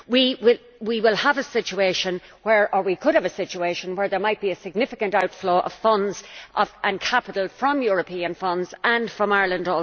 We could have a situation where there might be a significant outflow of funds and capital from European funds and also from Ireland.